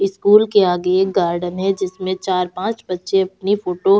school के आगे एक गार्डन है जिसमें चार-पांच बच्चे अपनी फोटो --